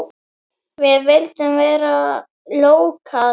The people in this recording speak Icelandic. Við vildum vera lókal.